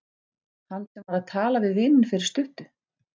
Hann sem var að tala við vininn fyrir stuttu.